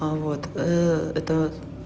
а вот это